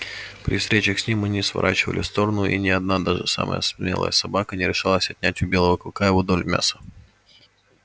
при встречах с ним мы не сворачивали в сторону и ни одна даже самая смелая собака не решалась отнять у белого клыка его долю мяса